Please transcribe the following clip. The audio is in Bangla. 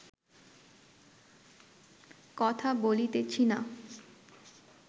কথা বলিতেছি না